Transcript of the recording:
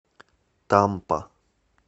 тампа